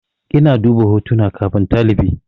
Ina duba hotunan kafin talifi.